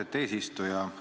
Austet eesistuja!